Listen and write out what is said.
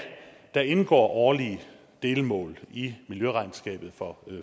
der indgår årlige delmål i miljøregnskabet for